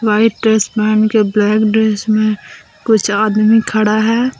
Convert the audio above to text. White dress पहनके black dress में कुछ आदमी खड़ा है।